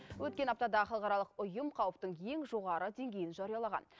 өткен аптада халықаралық ұйым қауіптің ең жоғары деңгейін жариялаған